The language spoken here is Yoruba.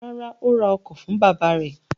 Rárá, ó ra ọkọ̀ fún bàbá rẹ̀.